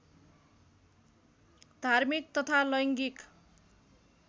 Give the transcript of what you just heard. धार्मिक तथा लैङ्गिक